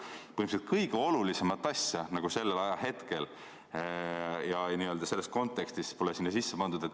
Põhimõtteliselt kõige olulisemat asja sellel ajahetkel ja selles kontekstis pole sinna sisse pandud.